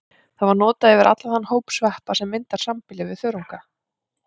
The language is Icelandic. Þar var það notað yfir allan þann hóp sveppa sem myndar sambýli við þörunga.